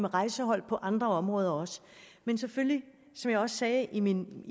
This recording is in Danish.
rejsehold på andre områder også men selvfølgelig som jeg også sagde i min